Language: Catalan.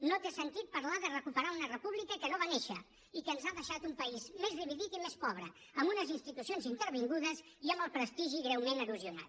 no té sentit parlar de recuperar una república que no va néixer i que ens ha deixat un país més dividit i més pobre amb unes institucions intervingudes i amb el prestigi greument erosionat